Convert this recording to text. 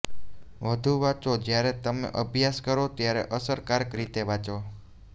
વધુ વાંચો જ્યારે તમે અભ્યાસ કરો ત્યારે અસરકારક રીતે વાંચો